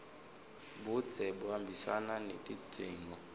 budze buhambisana netidzingo